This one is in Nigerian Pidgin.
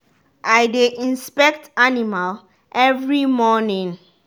i dey inspect animal every morning.